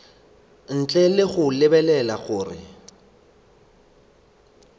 ntle le go lebelela gore